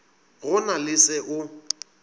go na le se o